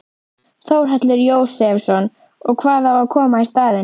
Þórhallur Jósefsson: Og hvað á að koma í staðinn?